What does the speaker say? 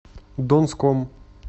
донском